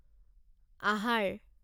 আহাৰ